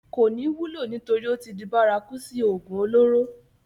kò ní wúlò nítorí ó tí di bárakú sí ògùn olóró